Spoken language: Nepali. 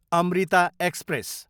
अमृता एक्सप्रेस